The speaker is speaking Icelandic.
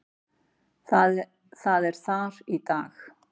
Það er þar í dag.